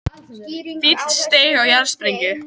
Fíll steig á jarðsprengju